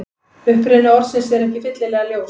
Uppruni orðsins er ekki fyllilega ljós.